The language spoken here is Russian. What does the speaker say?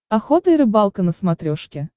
охота и рыбалка на смотрешке